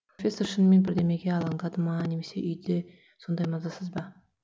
профессор шынымен бірдемеге алаңдады ма немесе үйде сондай мазасыз ба